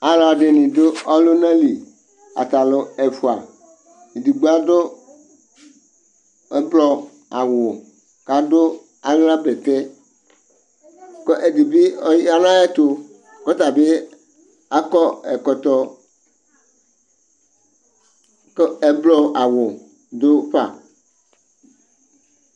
alʋɛdini dʋ ɔlʋna li, atalʋ ɛƒʋa ,ɛdigbɔ adʋ ɛgblɔ awʋ kʋ adʋ ala bɛtɛ kʋ ɛdibi ɔyanʋ ayɛtʋ kʋ ɔtabi akɔ ɛkɔtɔ kʋ ɛgblɔ awʋ dʋ ƒa